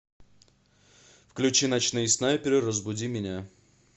включи ночные снайперы разбуди меня